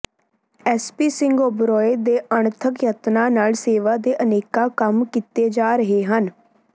SP Singh Oberoi ਦੇ ਅਣਥੱਕ ਯਤਨਾਂ ਨਾਲ ਸੇਵਾ ਦੇ ਅਨੇਕਾਂ ਕੰਮ ਕੀਤੇ ਜਾ ਰਹੇ ਹਨ